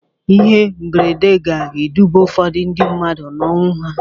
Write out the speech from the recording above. Ihe mberede ga-eduba ụfọdụ ndị mmadụ n'ọnwụ ha.